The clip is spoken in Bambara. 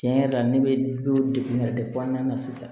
Tiɲɛ yɛrɛ la ne bɛ o dekun yɛrɛ de kɔnɔna na sisan